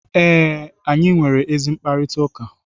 ee, anyị nwere ezi mkparịta ụka